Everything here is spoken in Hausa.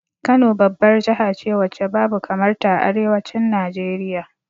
Kano babbar jahace wacce babu kamar ta a arewacin Najeriya